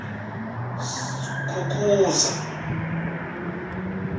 skukuza